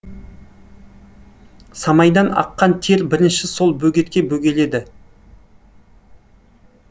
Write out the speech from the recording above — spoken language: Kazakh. самайдан аққан тер бірінші сол бөгетке бөгеледі